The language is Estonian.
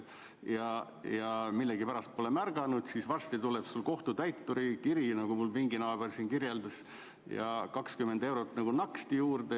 Kui sa millegipärast pole seda teadet märganud, siis varsti tuleb sulle kohtutäituri kiri ja nagu mu pinginaaber siin kirjeldas, kohe on naksti 20 eurot juures.